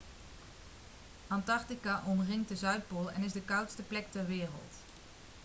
antarctica omringt de zuidpool en is de koudste plek ter wereld